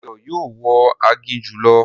Dayọ̀ yóò wọ aginjù lọ